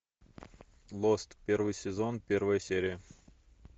лост первый сезон первая серия